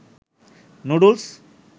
noodles